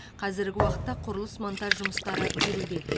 қазіргі уақытта құрылыс монтаж жұмыстары жүруде